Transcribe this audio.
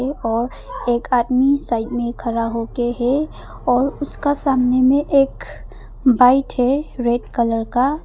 एक ओर एक आदमी साइड में खड़ा होके है और उसका सामने में एक बाइट है रेड कलर का।